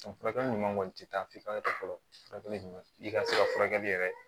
Furakɛli ɲuman kɔni tɛ taa fifa fɛ fɔlɔ furakɛli ɲuman i ka se ka furakɛli yɛrɛ